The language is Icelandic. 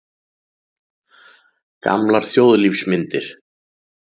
Gamlar þjóðlífsmyndir.